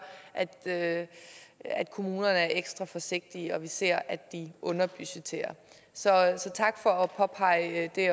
at at kommunerne er ekstra forsigtige og at vi ser at de underbudgetterer så tak for også at påpege det